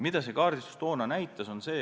Mida see kaardistus toona näitas?